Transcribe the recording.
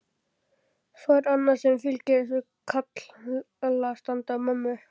Svo er annað sem fylgir þessu karlastandi á mömmu.